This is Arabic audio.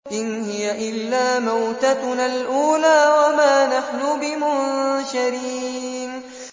إِنْ هِيَ إِلَّا مَوْتَتُنَا الْأُولَىٰ وَمَا نَحْنُ بِمُنشَرِينَ